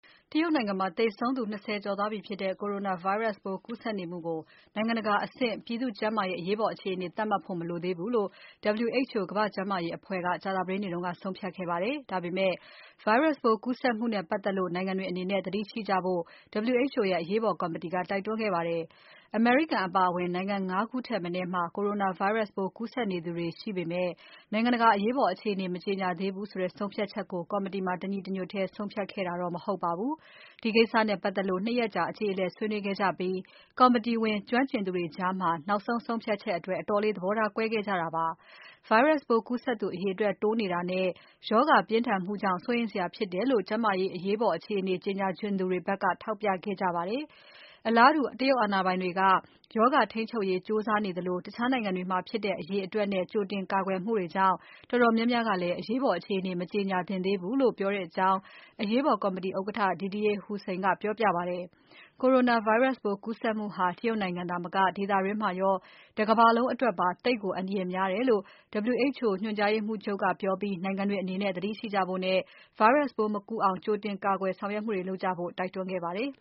တရုတ်နိုင်ငံမှာ လူပေါင်း ၂၀ ကျော်သေဆုံးနေတဲ့ Coronavirus ပိုးကူးစက်နေမှုကို နိုင်ငံတကာအဆင့် ပြည်သူ့ကျန်းမာရေး အရေးပေါ်အခြေအနေအဆင့် သတ်မှတ်ဖို့ မလိုသေးဘူးလို့ WHO ကမ္ဘာ့ကျန်းမာရေးအဖွဲ့ ကြာသပတေးနေ့က ဆုံးဖြတ်ခဲ့ပါတယ်။ ဒါပေမဲ့ Virus ပိုးကူးစက်မှုနဲ့ပတ်သက်လို့ နိုင်ငံတွေအနေနဲ့ သတိရှိကြဖို့ WHO ရဲ့ အရေးပေါ်ကော်မတီက တိုက်တွန်းခဲ့ပါတယ်။ အမေရိကန်ပါအဝင် နိုင်ငံ ၅ ခုထက်မနည်းမှာ Coronavirus ပိုးကူးစက်နေသူတွေကို ရှိနေေပမဲ့ နိုင်ငံတကာ အရေးပေါ် အခြေအနေ မကြေညာသေးဘူးဆိုတဲ့ ဆုံးဖြတ်ချက်ကို ကော်မတီမှာ တညီတညွတ်ထဲ ဆုံးဖြတ်ခဲ့တာတော့ မဟုတ်ပါဘူး။ ဒီကိစ္စနဲ့ပတ်သက်လို့ ၂ ရက်အကြေအလည် ဆွေးနွေးခဲ့ကြပြီး ကော်မတီဝင် ကျွမ်းကျင်သူတွေကြား နောက်ဆုံး ဆုံးဖြတ်ချက်အတွက် အတော်လေး သဘောထား ကွဲခဲ့ကြတာပါ။ Virus ပိုးကူးစက်သူ အရေအတွက်တိုးနေတာနဲ့ ရောဂါပြင်းထန်မှုကြောင့် စိုးရိမ်စရာဖြစ်တယ်လို့ ကျန်းမာရေးအရေးပေါ် အခြေအနေ ကြေညာချင်သူတွေဘက်က ထောက်ပြခဲ့ကြပါတယ်။ အလားတူ တရုတ်အာဏာပိုင်တွေက ရောဂါထိန်းချုပ်ရေး ကြိုးစားနေကြသလို၊ တခြားနိုင်ငံတွေမှာ ဖြစ်တဲ့အရေအတွက်နဲ့ ကြိုတင်ကာကွယ်မှုတွေကြောင့် တော်တော်များများကလည်း အရေးပေါ် အခြေအနေ မကြေညာသင့်သေးဘူးလို့ ပြောကြကြောင်း အရေးပေါ် ကော်မတီဥက္ကဋ္ဌ Didier Houssin ကပြောပြပါတယ်။ Coronavirus ပိုး ကူးစက်မှုဟာ တရုတ်နိုင်ငံသာမက ဒေသတွင်းမှာရော တကမ္ဘာလုံးအတွက်ပါ သိပ်ကို အန္တရာယ်များတယ်လို့ WHO ညွှန်ကြားရေးမှူးချုပ်က ပြောပြီး နိုင်ငံတွေအနေနဲ့ သတိရှိကြဖို့နဲ့ Virus ပိုးမကူးအောင် ကြိုတင်ကာကွယ်ဆောင်ရွက်မှုတွေ လုပ်ကြဖို့ တိုက်တွန်းခဲ့ပါတယ်